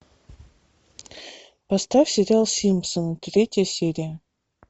поставь сериал симпсоны третья серия